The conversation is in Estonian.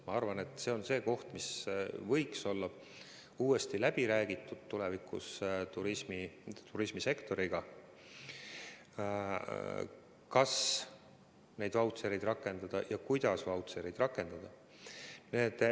Ma arvan, et see on teema, mida võiks tulevikus turismisektoriga uuesti läbi rääkida – kas neid vautšereid rakendada ja kuidas neid rakendada.